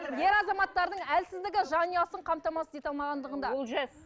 ер азаматтардың әлсіздігі жанұясын қамтамасыз ете алмағандығында